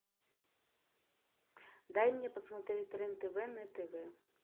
дай мне посмотреть рен тв на тв